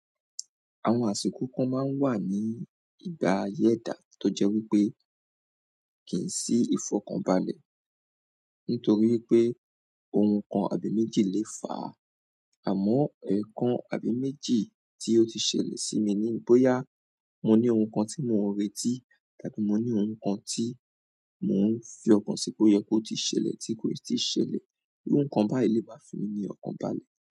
Àwọn àsìkò kan máa ń wà ní ìgbà ayé ẹdà tó jẹ́ wípé kì í sí ìfọ̀kànbalẹ̀ nítorí pé ohun kan àbí méjì lè fà á, àmọ́ ẹ̀ẹ̀kan àbí méjì tí ó ti ṣẹlẹ̀ sí mi ní bóyá mo ní ohun kan tí mò ń retí tàbí mo ní ohun kan tí mò ń fi ọkàn sí pé ó yẹ kó ti ṣẹlẹ̀ tí kò ì tí ì ṣẹlẹ̀, iru nkan báyìí lè má fi mí ní ọ̀kàn balẹ̀.